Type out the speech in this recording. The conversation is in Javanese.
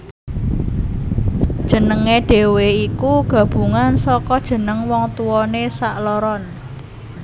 Jenengé dhewe iku gabungan saka jeneng wong tuwané sakloron